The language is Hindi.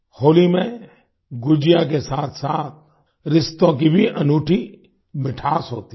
होली में गुजिया के साथसाथ रिश्तों की भी अनूठी मिठास होती है